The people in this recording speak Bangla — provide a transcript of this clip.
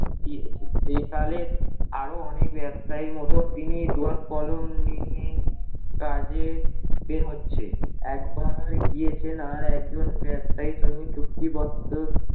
দিয়েছে সেকালে আরো অনেক ব্যবসায়ীর মতো তিনি দোয়াদ কলম নিয়ে কাজে বের হচ্ছে। একবার গিয়েছেন আর একজন ব্যবসায়ীর সঙ্গে চুক্তিবদ্ধ